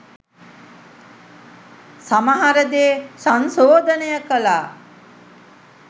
සමහර දේ සංශෝදනය කලා